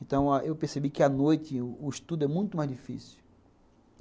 Então ah eu percebi que à noite o estudo é muito mais difícil.